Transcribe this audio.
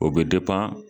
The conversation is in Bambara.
O bɛ